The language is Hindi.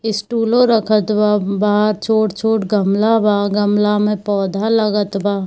स्टूलों रखत बा बाहर छोट-छोट गमला बा गमला में पौधा लागत बा।